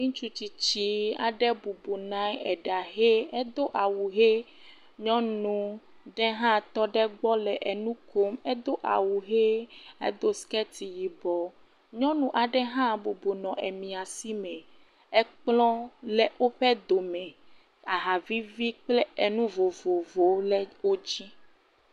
Ŋutsu tsitsi aɖe bɔbɔ nɔ anyi eɖahe, edo awu he. Nyɔnu ɖe hã tɔ ɖe egbɔ le enu kom edo awu he, edo siketi yibɔ. Nyɔnu aɖe hã bɔbɔ nɔ ami si me, ekplɔ le woƒe dome, ahavivi kple enu vovovovowo le wo dzi.